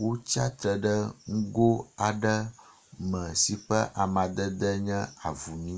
Wotsiatre ɖe ŋgo aɖe me si ƒe amadede nye avumi.